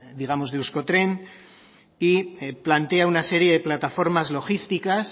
digamos de euskotren y plantea una serie de plataformas logísticas